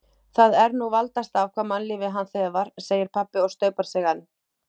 Það er nú valdast af hvaða mannlífi hann þefar, segir pabbi og staupar sig enn.